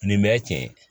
Nin bɛ cɛ